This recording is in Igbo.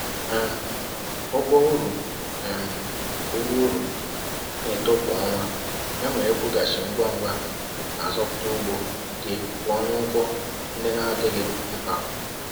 um Ụgwọ uru um Ụgwọ uru na-eto kwa ọnwa, ya mere ịkwụghachi ngwa ngwa na-azọpụta ugbo gị pụọ na ụgwọ ndị na-adịghị mkpa.